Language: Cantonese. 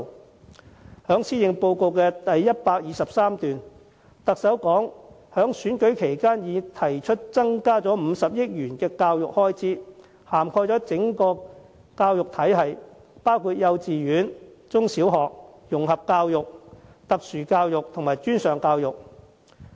特首在施政報告第123段指出，她在參選期間已提出增撥50億元教育開支，涵蓋整個教育體系，包括幼稚園、中小學、融合教育、特殊教育和專上教育。